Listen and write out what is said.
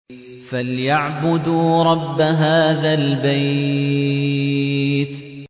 فَلْيَعْبُدُوا رَبَّ هَٰذَا الْبَيْتِ